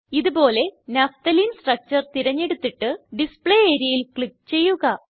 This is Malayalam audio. ഇത് പോലെ നഫ്തലീൻ സ്ട്രക്ചർ തിരഞ്ഞെടുത്തിട്ട് ഡിസ്പ്ലേ areaയിൽ ക്ലിക്ക് ചെയ്യുക